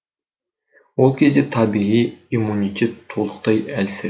ол кезде табиғи иммунитет толықтай әлсірейді